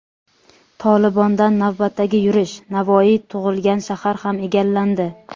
"Tolibon"dan navbatdagi yurish: Navoiy tug‘ilgan shahar ham egallandi.